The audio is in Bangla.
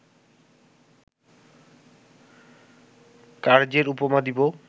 কার্য্যের উপমা দিব